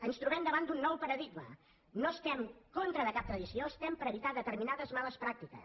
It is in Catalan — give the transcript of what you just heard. ens trobem davant d’un nou paradigma no estem en contra de cap tradició estem per evitar determinades males pràctiques